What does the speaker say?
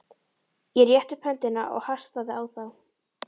Ég rétti upp höndina og hastaði á þá.